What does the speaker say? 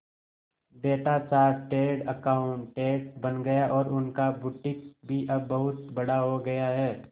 बेटा chartered accountant बन गया और उनका बुटीक भी अब बहुत बड़ा हो गया है